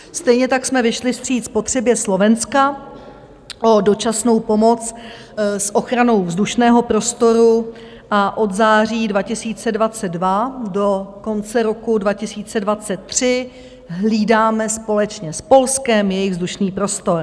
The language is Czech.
Stejně tak jsme vyšli vstříc potřebě Slovenska o dočasnou pomoc s ochranou vzdušného prostoru a od září 2022 do konce roku 2023 hlídáme společně s Polskem jejich vzdušný prostor.